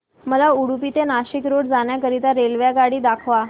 मला उडुपी ते नाशिक रोड जाण्या करीता रेल्वेगाड्या दाखवा